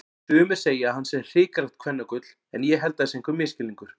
Sumir segja að hann sé hrikalegt kvennagull en ég held það sé einhver misskilningur.